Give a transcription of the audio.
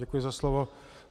Děkuji za slovo.